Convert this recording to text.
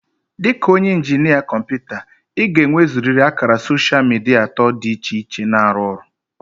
Dị ka onye injinia kọmpụta, ị ga-enwezurịrị ákàrà soshal midia atọ dị iche iche na-arụ ọrụ